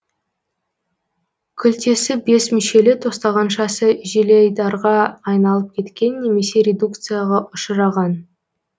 күлтесі бес мүшелі тостағаншасы желайдарға айналып кеткен немесе редукцияға ұшыраған